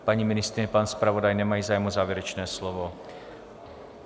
Paní ministryně, pan zpravodaj nemají zájem o závěrečné slovo.